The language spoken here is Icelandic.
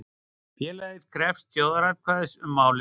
Félagið krefst þjóðaratkvæðis um málið